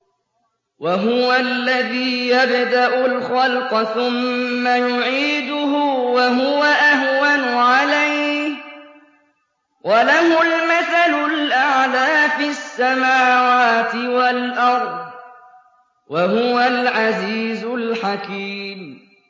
وَهُوَ الَّذِي يَبْدَأُ الْخَلْقَ ثُمَّ يُعِيدُهُ وَهُوَ أَهْوَنُ عَلَيْهِ ۚ وَلَهُ الْمَثَلُ الْأَعْلَىٰ فِي السَّمَاوَاتِ وَالْأَرْضِ ۚ وَهُوَ الْعَزِيزُ الْحَكِيمُ